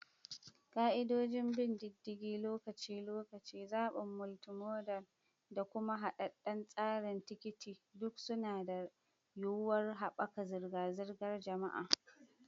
Ka'idodin bin diddigin lokaci-lokaci, zaɓin multimodal, da kuma haɗaɗɗen tsarin tikiti duk suna da yuwuwar haɓaka zirga-zirgar jama'a.